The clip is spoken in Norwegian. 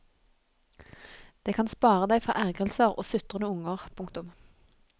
Det kan spare deg for ergrelser og sutrende unger. punktum